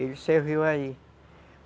Ele serviu aí.